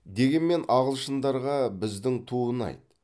дегенмен ағылшындарға біздің ту ұнайды